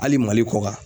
Hali mali kɔ kan